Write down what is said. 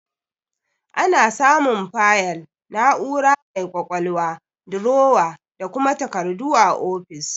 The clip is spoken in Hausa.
Ana samun fayil, na'ura mai ƙwaƙwalwa, durowa, da kuma takardu a ofis.